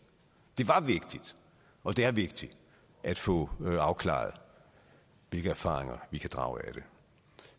det var vigtigt og det er vigtigt at få afklaret hvilke erfaringer vi kan drage af det